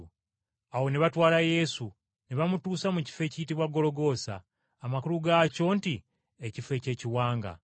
Awo ne batwala Yesu ne bamutuusa mu kifo ekiyitibwa Gologoosa, amakulu gaakyo nti Ekifo ky’Ekiwanga.